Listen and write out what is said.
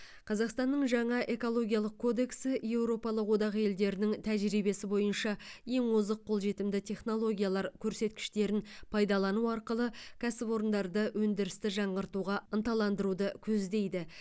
қазақстанның жаңа экологиялық кодексі еуропалық одақ елдерінің тәжірибесі бойынша ең озық қолжетімді технологиялар көрсеткіштерін пайдалану арқылы кәсіпорындарды өндірісті жаңғыртуға ынталандыруды көздейді